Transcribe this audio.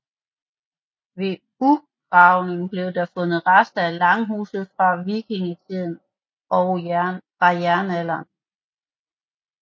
Ved ucgravninger blev der fundet rester af langhuse fra vikingetiden og fra jernalderen